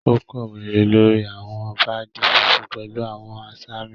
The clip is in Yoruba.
O kowe lórí awọn paadi fúnfún pẹlu awọn asami.